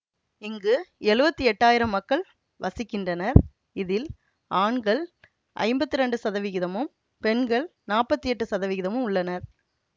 இங்கு எழுவத்தி எட்டாயிரம் மக்கள் வசிக்கின்றனர் இதில் ஆண்கள் ஐம்பத்தி இரண்டு சதவிகிதமும் பெண்கள் நாப்பத்தி எட்டு சதவிகிதமும் உள்ளனர்